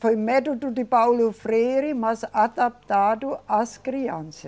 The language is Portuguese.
Foi método de Paulo Freire, mas adaptado às criança